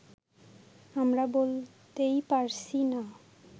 আমরা বলতেই পারছি না